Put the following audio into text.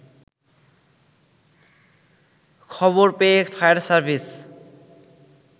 খবর পেয়ে fire service